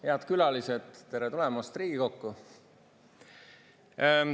Head külalised, tere tulemast Riigikokku!